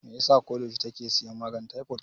Me yasa ko da yaushe take siyan maganin taifod?